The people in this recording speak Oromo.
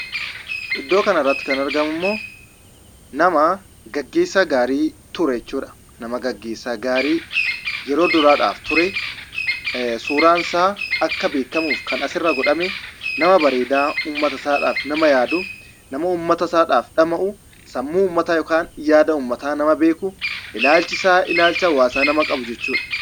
Iddoo kanarratti kan argamummoo nama gaggeessaa gaarii ture jechuudha. Nama gaggeessaa gaarii yeroo duraadhaaf ture, suuraan isaa akka beekamuuf kan asirra godhame, nama bareedaa uummata isaadhaaf yaadu ,nama uummata isaadhaaf dhama'u ,sammuu uummataa yaada uummataa nama beeku, ilaalchisaa ilaalcha uummataa nama ta'e jechuudha.